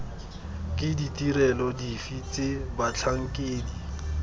ke ditirelo dife tse batlhankedi